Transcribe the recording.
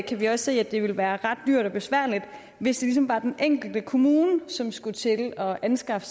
kan vi også se at det vil være ret dyrt og besværligt hvis det ligesom var den enkelte kommune som skulle til at anskaffe